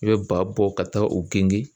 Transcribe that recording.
I bɛ ba bɔ ka taa u genge.